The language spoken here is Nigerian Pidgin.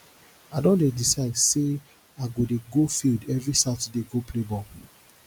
i don decide sey i go dey go field every saturday go play ball